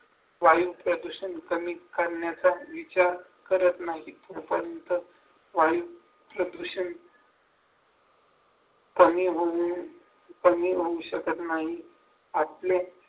वायु प्रदूषण कमी करण्याचा विचार करत नाही पण तसं वायूच्या विषयी कमी होऊन कमी होऊ शकत नाही आपले